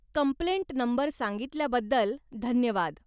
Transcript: Complaint number सांगितल्याबद्दल धन्यवाद.